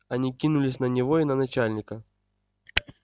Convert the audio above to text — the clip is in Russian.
они кинулись на него и на начальника